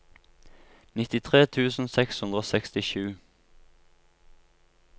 nittitre tusen seks hundre og sekstisju